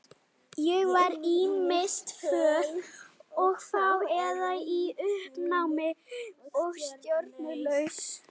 Ég var ýmist föl og fá eða í uppnámi og stjórnlaus.